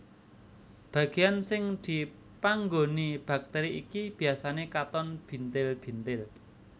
Bagian sing dipanggoni bakteri iki biasane katon bintil bintil